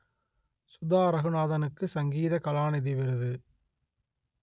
சுதா ரகுநாதனுக்கு சங்கீத கலாநிதி விருது